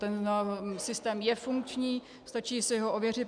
Ten systém je funkční, stačí si ho ověřit.